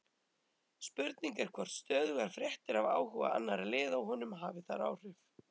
Spurning er hvort stöðugar fréttir af áhuga annarra liða á honum hafi þar áhrif?